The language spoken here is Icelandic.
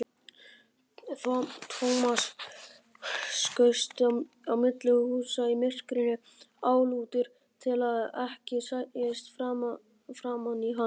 Thomas skaust á milli húsa í myrkrinu, álútur til að ekki sæist framan í hann.